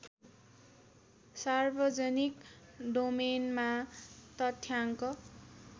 सार्वजनिक डोमेनमा तथ्याङ्क